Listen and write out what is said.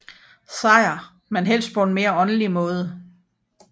Sejr men helst på en mere åndelig måde